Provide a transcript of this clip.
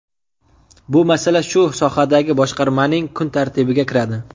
Bu masala shu sohadagi boshqarmaning kun tartibiga kiradi.